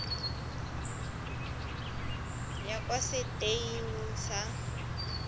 ya kwa setei eneng sa